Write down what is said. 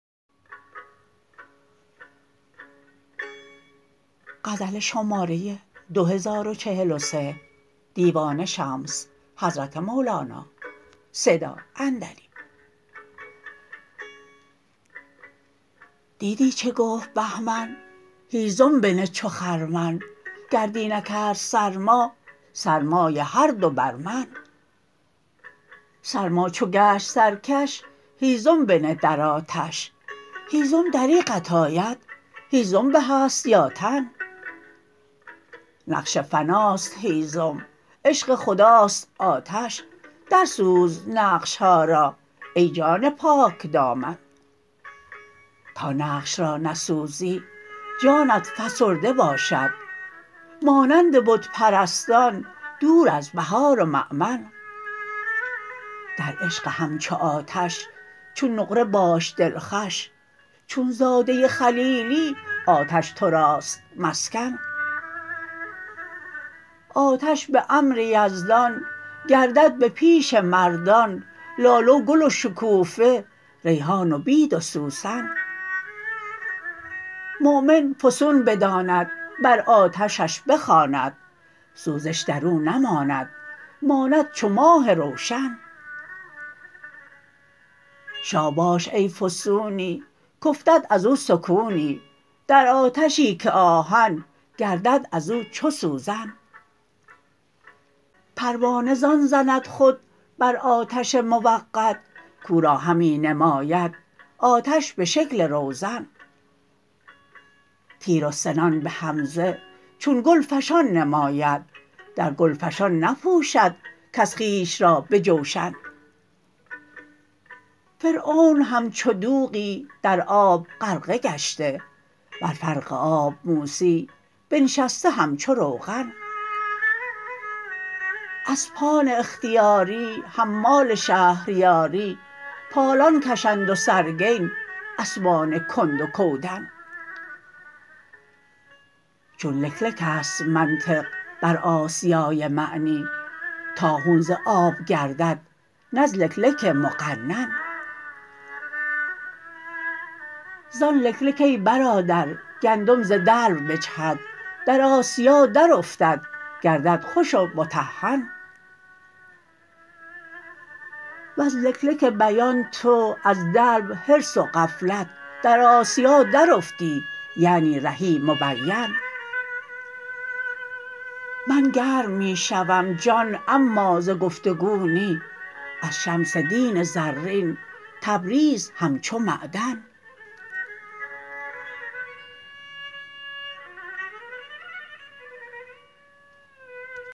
دیدی چه گفت بهمن هیزم بنه چو خرمن گر دی نکرد سرما سرمای هر دو بر من سرما چو گشت سرکش هیزم بنه در آتش هیزم دریغت آید هیزم به است یا تن نقش فناست هیزم عشق خداست آتش در سوز نقش ها را ای جان پاکدامن تا نقش را نسوزی جانت فسرده باشد مانند بت پرستان دور از بهار و مؤمن در عشق همچو آتش چون نقره باش دلخوش چون زاده خلیلی آتش تو راست مسکن آتش به امر یزدان گردد به پیش مردان لاله و گل و شکوفه ریحان و بید و سوسن مؤمن فسون بداند بر آتشش بخواند سوزش در او نماند ماند چو ماه روشن شاباش ای فسونی کافتد از او سکونی در آتشی که آهن گردد از او چو سوزن پروانه زان زند خود بر آتش موقد کو را همی نماید آتش به شکل روزن تیر و سنان به حمزه چون گلفشان نماید در گلفشان نپوشد کس خویش را به جوشن فرعون همچو دوغی در آب غرقه گشته بر فرق آب موسی بنشسته همچو روغن اسپان اختیاری حمال شهریاری پالان کشند و سرگین اسبان کند و کودن چو لک لک است منطق بر آسیای معنی طاحون ز آب گردد نه از لکلک مقنن زان لک لک ای برادر گندم ز دلو بجهد در آسیا درافتد گردد خوش و مطحن وز لک لک بیان تو از دلو حرص و غفلت در آسیا درافتی یعنی رهی مبین من گرم می شوم جان اما ز گفت و گو نی از شمس دین زرین تبریز همچو معدن